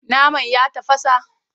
Naman ya tafasa?